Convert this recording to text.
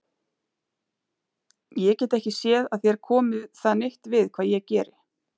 Ég get ekki séð að þér komi það neitt við hvað ég geri.